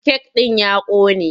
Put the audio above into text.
Kek ɗin ya ƙone.